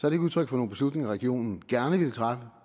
er udtryk for nogen beslutninger som regionen gerne ville træffe